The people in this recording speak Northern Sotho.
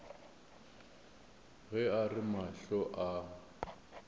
ge a re mahlo a